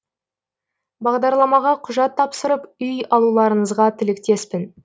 бағдарламаға құжат тапсырып үй алуларыңызға тілектеспін